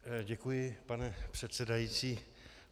Děkuji, pane předsedající.